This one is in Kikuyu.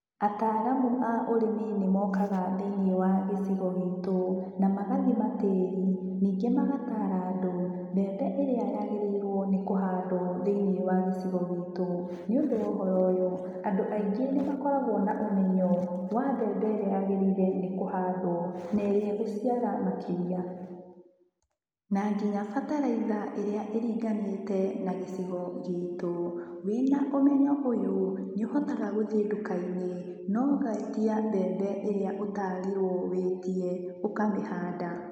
Ataaramu a ũrĩmi nĩ mokaga thĩiniĩ wa gĩcigo gitũ na magathima tĩĩri, ningĩ magataara andũ mbembe ĩrĩa yagĩrĩirwo nĩ kũhandwo thĩiniĩ wa gĩcigo gitu. Nĩũndũ wa ũhoro ũyũ, andũ aingĩ nĩ makoragwo na ũmenyo wa mbembe ĩrĩa yagĩrĩire nĩ kũhandwo na ĩrĩa ĩgũciara makĩria, na nginya bataraitha ĩrĩa ĩringanĩte na gĩcigo gitũ. Wĩna ũmenyo ũyũ nĩũhotaga gũthiĩ nduka-inĩ na ũgetia mbembe ĩrĩa ũtaarirwo wĩtie ũkamĩhanda.